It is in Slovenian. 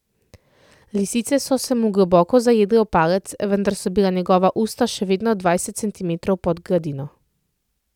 Lisice so se mu globoko zajedle v palec, vendar so bila njegova usta še vedno dvajset centimetrov pod gladino.